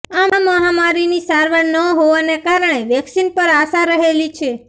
આ મહામારીની સારવાર ન હોવાને કારણે વેક્સિન પર આશા રહેલી છે